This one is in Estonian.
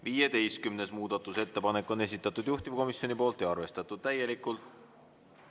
15. muudatusettepaneku on esitanud juhtivkomisjon ja seda on arvestatud täielikult.